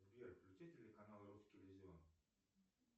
сбер включи телеканал русский иллюзион